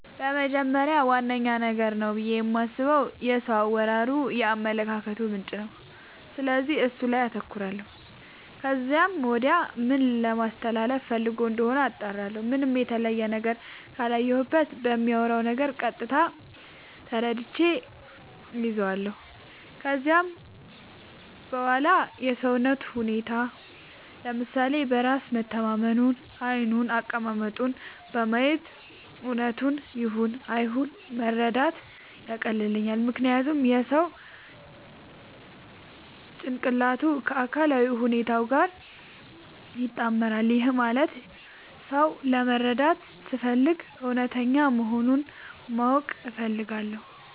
በመጀመሪያ ዋነኛ ነገር ነው ብዬ የማስበው የሰው አወራሩ የአመለካከቱ ምንጭ ነው፤ ስለዚህ እሱ ላይ አተኩራለው ከዚያም ወዲያ ምን ለማለስተላለፋ ፈልጎ እንደሆነ አጣራለሁ። ምንም የተለየ ነገር ካላየሁበት በሚያወራው ነገር ቀጥታ ተረድቼ እይዛለው። ከዚያም በዋላ የሰውነቱን ሁኔታ፤ ለምሳሌ በራስ መተማመኑን፤ ዓይኑን፤ አቀማመጡን በማየት እውነቱን ይሁን አይሁን መረዳት ያቀልልኛል። ምክንያቱም የሰው ጭንቅላቱ ከአካላዊ ሁኔታው ጋር ይጣመራል። ይህም ማለት ሰው ለመረዳት ስፈልግ እውነተኛ መሆኑን ማወቅ እፈልጋለው።